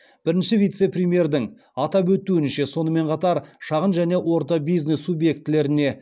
бірінші вице премьердің атап өтуінше сонымен қатар шағын және орта бизнес субъектілеріне